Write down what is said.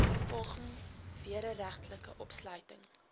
vervolging wederregtelike opsluiting